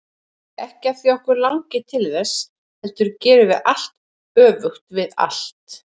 Ekki af því að okkur langi til þess, heldur gerum við allt öfugt við allt.